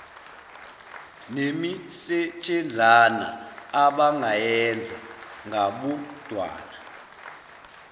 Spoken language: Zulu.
nemisetshenzana abangayenza ngabodwana